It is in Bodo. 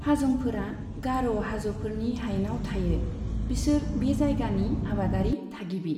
हाजंफोरा गार' हाज'फोरनि हायेनाव थायो, बिसोर बे जायगानि आबादारि थागिबि।